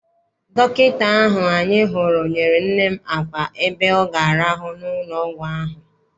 Dọkịta ahụ anyị hụrụ nyere nne m àkwà ebe ọ ga-arahu n'ụlọ ọgwụ ahụ.